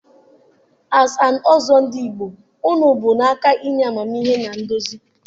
As an Ọzọ Ndigbo unu bu n'aka inye amamihe na nduzi.